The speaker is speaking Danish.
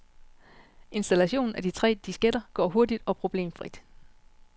Installationen af de tre disketter går hurtigt og problemfrit.